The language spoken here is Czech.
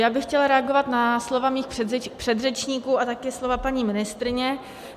Já bych chtěla reagovat na slova svých předřečníků a také slova paní ministryně.